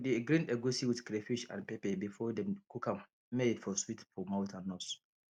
we dey grind egusi with crayfish and pepper before dem cook am may e for sweet for mouth and nose